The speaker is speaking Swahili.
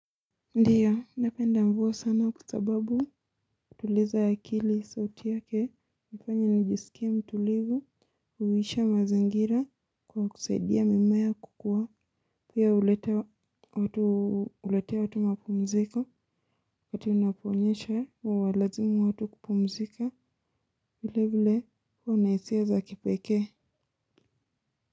Ndio, napenda mvua sana kwa sababu hutuliza akili sauti yake, hunifanya nijisikie mtulivu, hulisha mazingira kwa kusaidia mimea kukuwa, pia huletea watu mapumziko, wakati unaponyesha huwa lazimu watu kupumzika, vile vile kuwa na hisia za kipekee.